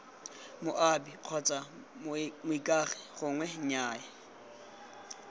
moabi kgotsa moikaegi gongwe nnyaya